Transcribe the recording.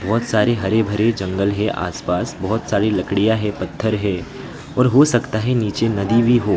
बहोत सारे हरे भरे जंगल है आस पास बहोत सारी लड़कियां है पत्थर है और हो सकता है नीचे नदी भी हो।